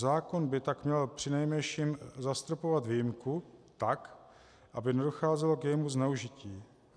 Zákon by tak měl přinejmenším zastropovat výjimku tak, aby nedocházelo k jejímu zneužití.